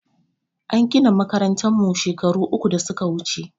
An gina makarantan mu shekaru uku da suka wuche